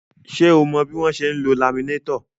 Ṣé o mọ bí wọ́n ṣe ń lo laminétọ̀?